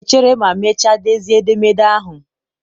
ọ ga-echere ma mechaa dezie edemede ahụ.